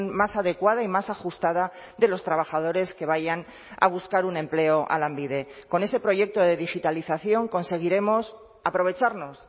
más adecuada y más ajustada de los trabajadores que vayan a buscar un empleo a lanbide con ese proyecto de digitalización conseguiremos aprovecharnos